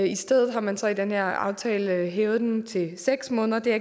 i stedet har man så i den her aftale hævet den til seks måneder det er